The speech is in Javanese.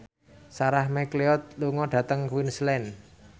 Sarah McLeod lunga dhateng Queensland